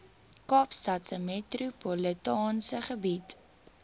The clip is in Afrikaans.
kaapstadse metropolitaanse gebied